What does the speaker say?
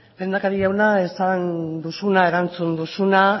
lehendakari jauna esan duzuna erantzun duzuna